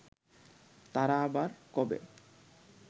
তারা আবার কবে